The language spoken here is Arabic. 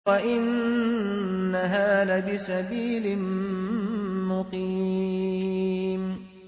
وَإِنَّهَا لَبِسَبِيلٍ مُّقِيمٍ